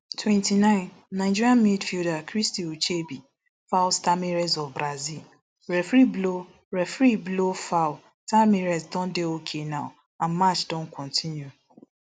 twenty-nine nigeria midfielder christy ucheibe foul tamires of brazil referee blow referee blow foul tamires don dey okay now and match don kontinu